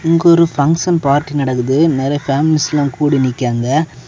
இங்க ஒரு function party நடந்து நிறைய ஃபேமிலிஸ் எல்லா கூடி நிக்காங்க.